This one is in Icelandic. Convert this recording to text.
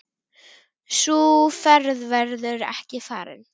Sú ferð verður ekki farin.